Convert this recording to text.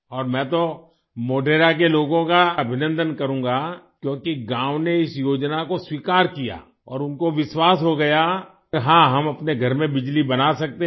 और मैं तो मोढेरा के लोगों का अभिनन्दन करूँगा क्योंकि गाँव ने इस योजना को स्वीकार किया और उनको विश्वास हो गया कि हाँ हम अपने घर में बिजली बना सकते हैं